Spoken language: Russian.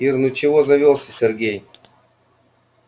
ир ну чего завёлся сергей